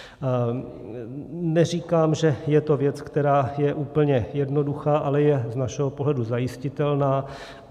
Neříkám, že je to věc, která je úplně jednoduchá, ale je z našeho pohledu zajistitelná.